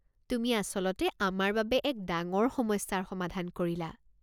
তুমি আচলতে আমাৰ বাবে এক ডাঙৰ সমস্যাৰ সমাধান কৰিলা।